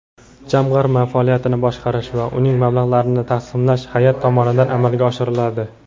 Jamg‘arma faoliyatini boshqarish va uning mablag‘larini taqsimlash hayʼat tomonidan amalga oshiriladi.